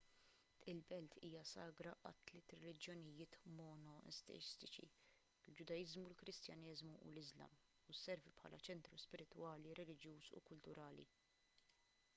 il-belt hija sagra għat-tliet reliġjonijiet monoteistiċi il-ġudaiżmu il-kristjaneżmu u l-islam u sservi bħala ċentru spiritwali reliġjuż u kulturali